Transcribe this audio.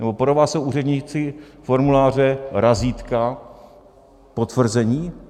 Nebo pro vás jsou úředníci formuláře, razítka, potvrzení?